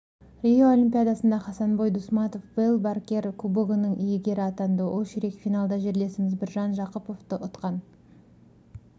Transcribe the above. рио олимпиадасында хасанбой дусматов вэл баркер кубогының иегері атанды ол ширек финалда жерлесіміз біржан жақыповты ұтқан